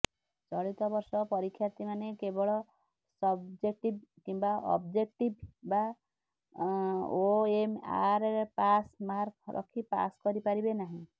ଚଳିତ ବର୍ଷ ପରୀକ୍ଷାର୍ଥୀମାନେ କେବଳ ସବଜେକ୍ଟିଭ କିମ୍ବା ଅବଜେକ୍ଟିଭ୍ ବା ଓଏମ୍ଆରରେପାସ୍ ମାର୍କ ରଖି ପାସ୍ କରିପାରିବେ ନାହିଁ